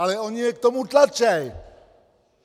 Ale oni je k tomu tlačí!